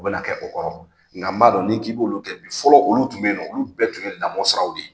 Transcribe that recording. U bɛna kɛ o kɔrɔ nka b'a dɔn ni k'i b'olu kɛ bi fɔlɔ olu tun bɛ yen nɔ olu bɛɛ tun ye lamɔ sira de ye.